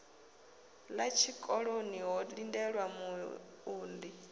ḓa tshikoloni ho lindelwa muunḓi